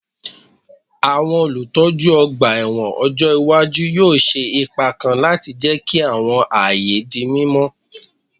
Àwọn olùtọ́jú ọgbà ẹ̀wọ̀n ọjọ́ iwájú yóò ṣe ipa kan láti jẹ́ kí àwọn ààyè di mímọ́